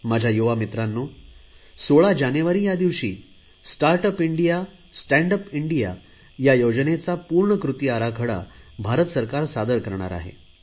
माझ्या युवा मित्रांनो 16 जानेवारी या दिवशी start up India stand up India या योजनेचा पूर्ण कृती आराखडा भारत सरकार सादर करणार आहे